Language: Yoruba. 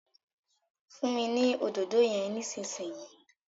funmi ní Òdòdó yén nísìsiyìí!